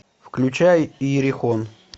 включай иерихон